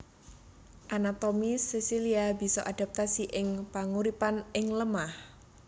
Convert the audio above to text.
Anatomi sesilia bisa adaptasi ing panguripan ing lemah